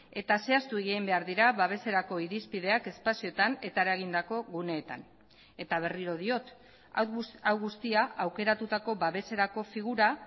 eta zehaztu egin behar dira babeserako irizpideak espazioetan eta eragindako guneetan eta berriro diot hau guztia aukeratutako babeserako figura